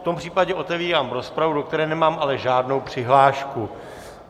V tom případě otevírám rozpravu, do které nemám ale žádnou přihlášku.